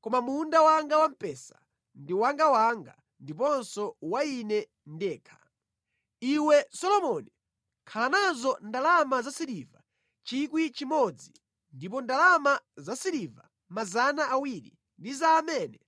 Koma munda wanga wampesa ndi wangawanga ndiponso wa ine ndekha. Iwe Solomoni, khala nazo ndalama zasiliva 1,000 ndipo ndalama zasiliva 200 ndi za amene